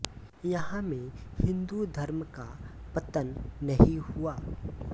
यहां में हिन्दू धर्म का पतन नही हुआ